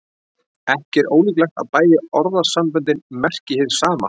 Ekki er ólíklegt að bæði orðasamböndin merki hið sama.